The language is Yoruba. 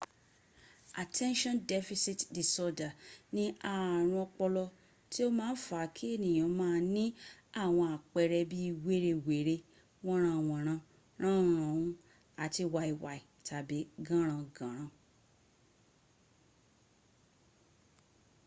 attention deficit disorder ni ààrùn ọpọlọ tí o máa ń fa kí ènìyàn máa ní àwọn àpẹẹrẹ bí wérewère wọ́nranwọ̀nran ránhunràun àti wàìwàì tàbí gànràngànrà.